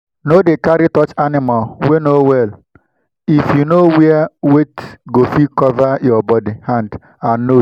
no dey carry touch animal wey no well if you no wear weyth go fit cover your body hand and nose well well